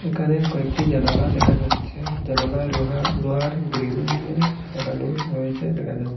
এখানে কয়েকটি জানালা দেখা যাচ্ছে জানালায় রোহা লোহার গ্রিল দিয়ে লাগানো রয়েছে দেখা যাচ--